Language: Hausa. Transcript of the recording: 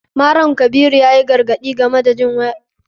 Malam kabiru yayi gargaɗi game da yawan jin waka.